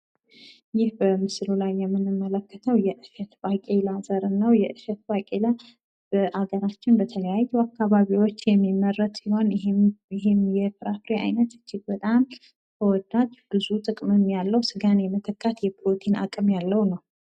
ይህ በምስሉ ላይ የምንመለከተው የእሸት ባቄላ ዘርን ነው። የእሸት ባቄላ በሀገራችን በተለያዩ አካባቢዎች የሚመረት ሲሆን ይህም የእህል አይነት እጅግ በጣም ተወዳጅ ብዙ ጥቅም ያለው ስጋን የመተካት የፕሮቲን አቅም ያለው ነው።